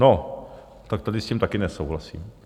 No tak tady s tím taky nesouhlasím.